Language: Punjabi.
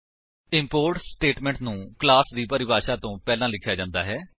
ਇੰਪੋਰਟ ਸਟੇਟਮੇਂਟ ਨੂੰ ਕਲਾਸ ਦੀ ਪਰਿਭਾਸ਼ਾ ਤੋ ਪਹਿਲਾਂ ਲਿਖਿਆ ਜਾਂਦਾ ਹੈ